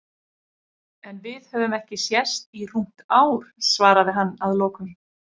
En við höfum ekki sést í rúmt ár, svaraði hann að lokum.